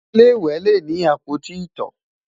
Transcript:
ilé ìwé lè ní apoti ito